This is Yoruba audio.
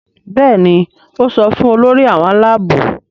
Béèni o so fún Olórí àwọn Àlàabò.